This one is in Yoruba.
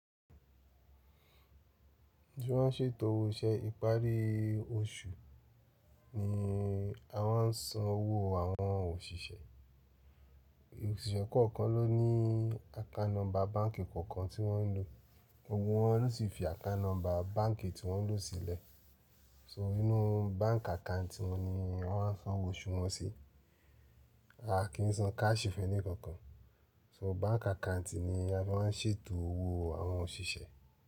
Tí wọ́n ń ṣètò owó iṣẹ́ ìparí oṣù ni a máa ń san owó àwọn òṣìṣẹ́. Òṣìṣẹ́ kọ̀ọ̀kan ló ní account nọ́mbà báǹkì kọ̀ọ̀kan tí wọ́n ń lò. Gbogbo wọ́n ló sì fi account nọ́mbà báǹkì tí wọ́n lò sílẹ̀. So inú báǹk account wọn ni a máa san owó oṣù wọn sí. A kì í san cash f' ẹni kankan. So báǹkì account ni a máa ń ṣètò owó àwọn òṣìṣẹ́.